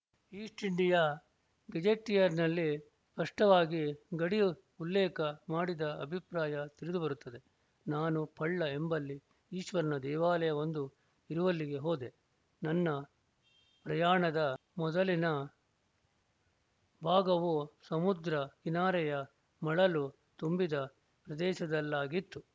East India ಗೆಜೆಟಿಯರ್‍ನಲ್ಲಿ ಸ್ಪಷ್ಟವಾಗಿ ಗಡಿ ಉಲ್ಲೇಖ ಮಾಡಿದ ಅಭಿಪ್ರಾಯ ತಿಳಿದುಬರುತ್ತದೆ ನಾನು ಪಳ್ಳ ಎಂಬಲ್ಲಿ ಈಶ್ವರನ ದೇವಾಲಯವೊಂದು ಇರುವಲ್ಲಿಗೆ ಹೋದೆ ನನ್ನ ಪ್ರಯಾಣದ ಮೊದಲಿನ ಭಾಗವು ಸಮುದ್ರ ಕಿನಾರೆಯ ಮಳಲು ತುಂಬಿದ ಪ್ರದೇಶದಲ್ಲಾಗಿತ್ತು